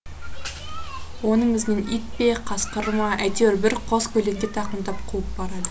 оның ізінен ит пе қасқыр ма әйтеуір бір қос көлеңке тақымдап қуып барады